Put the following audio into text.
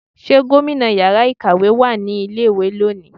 ṣe gómìnà ìyára ikáwe wá ní ilé ìwé loni?